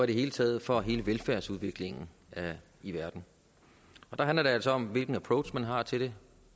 det hele taget for hele velfærdsudviklingen i verden og der handler det altså om hvilken approach man har til det